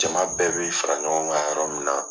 Jaman bɛɛ bɛ fara ɲɔgɔn kan yɔrɔ min na.